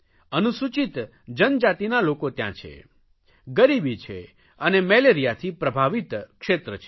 અનુસૂચિત જનજાતિઓના લોકો ત્યાં છે ગરીબી છે અને મેલેરિયાથી પ્રભાવિત ક્ષેત્ર છે